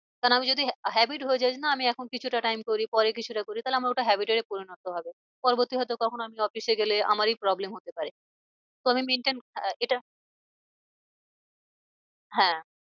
কারণ আমি যদি habit হয়ে যায় যে না আমি এখন কিছুটা time করি পরে কিছুটা করি তাহলে আমার ওটা habit এ পরিণত হবে। পরবর্তী হয় তো কখনো আমি office এ গেলে আমারই problem হতে পারে। তো আমি maintain আহ এটা হ্যাঁ